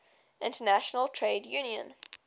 international trade union